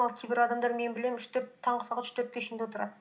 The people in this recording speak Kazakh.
кейбір адамдар мен білемін таңғы сағат үш төртке шейін де отырады